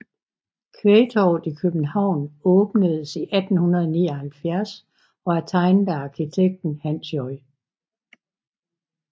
Kvægtorvet i København åbnedes i 1879 og er tegnet af arkitekten Hans J